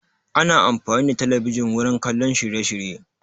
Ana amfani da talabijin wurin kallon shirye shirye